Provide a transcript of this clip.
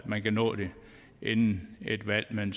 man kan nå det inden et valg men